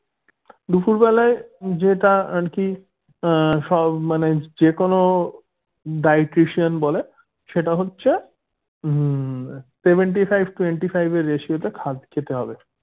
দুপুর বেলায় যেটা আরকি আহ সব মানে যেকোনো dietitian বলে সেটা হচ্ছে উম seventy five twenty five এর ratio তে খেতে হবে